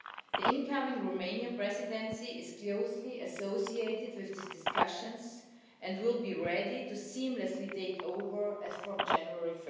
The incoming Romanian Presidency is closely associated with these discussions and will be ready to seamlessly take over as from 1 January